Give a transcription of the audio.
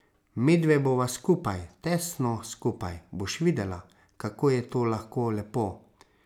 Medve bova skupaj, tesno skupaj, boš videla, kako je to lahko lepo.